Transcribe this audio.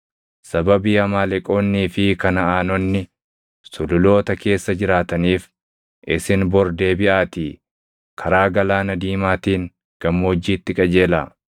Sababii Amaaleqoonnii fi Kanaʼaanonni Sululoota keessa jiraataniif, isin bor deebiʼaatii karaa Galaana Diimaatiin gammoojjiitti qajeelaa.”